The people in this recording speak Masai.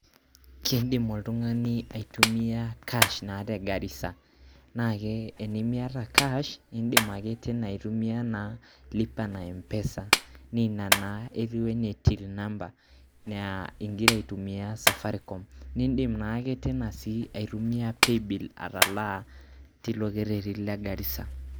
keidim oltung'ani aitumiya cash naata e Garisa naa tenimiata cash indim ake aitumia lipa na empesa naa ina naa ingira aitumiya till ingira aitumiya safaricom naa indii naa aitumiya paybill atalaa tilo kereti le Garisa